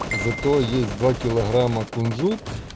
зато есть два килограмма кунжут